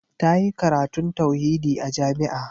Ta yi karatun tauhidi a jami'a.